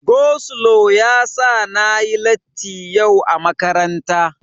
Go slo yasa na yi latti yau a makaranta.